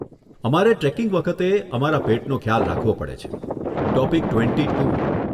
અમારે ટ્રેકિંગ વખતે અમારા પેટનો ખ્યાલ રાખવો પડે છે.